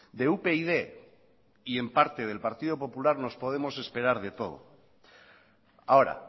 de upyd y en parte del partido popular nos podemos esperar de todo ahora